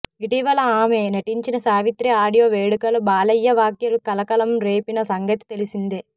ఇటీవల ఆమె నటించిన సావిత్రి ఆడియో వేడుకలో బాలయ్య వ్యాఖ్యలు కలకలం రేపిన సంగతి తెలిసిందే